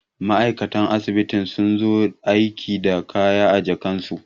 ma'aikatan asibiti sun zo aiki da kaya a jakarsu